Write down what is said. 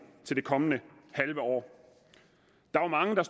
til det kommende halve år der var mange der